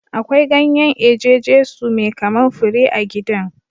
Akwai ganyen eje Jesu mai kaman fure a gidan.